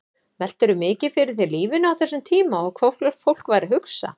Veltirðu mikið fyrir þér lífinu á þessum tíma og hvað fólk væri að hugsa?